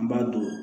An b'a don